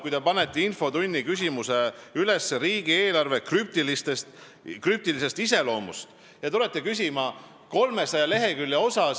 Te panite infotunni küsimusena kirja "Riigieelarve krüptiline iseloom", aga tulite küsima 300 lehekülje kohta.